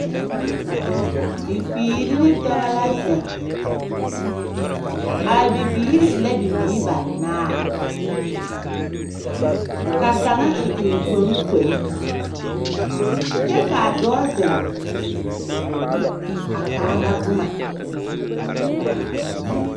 Bibiiri ne dɔbɔ la zeŋ, a bibiiri e la bibiiri banaar. Ka a kaŋa eŋ eŋkpoŋkpoli, kyɛ k'a dɔbɔ zeŋ a kaara boma.